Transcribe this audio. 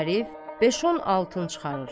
Arif, beş-on altın çıxarır.